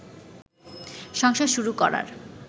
সংসার শুরু করার